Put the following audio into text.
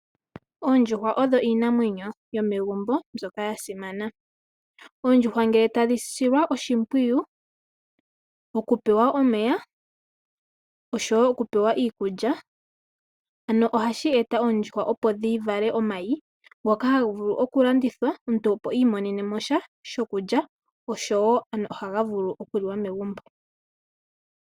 Oondjuhwa odho iinamwenyo yomegumbo ndyoka yasimana. Oondjuhwa ngele tadhi silwa oshipwiyu okupewa omeya oshowo okupewa iikulya ohashi eta oondjuhwa opo dhivale omayi ngoka haga vulu okulandithwa opo i imonene mosha shokulya noshowo ohaga vulu okuliwa megumbo.